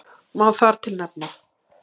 Má þar til nefna